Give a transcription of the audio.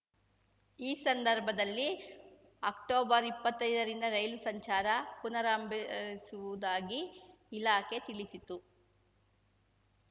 ಈ ಸಂದರ್ಭದಲ್ಲಿ ಅಕ್ಟೊಬರ್ಇಪ್ಪತ್ತೈದರಿಂದ ರೈಲು ಸಂಚಾರ ಪುನರಂಭಿಸುವುದಾಗಿ ಇಲಾಖೆ ತಿಳಿಸಿತ್ತು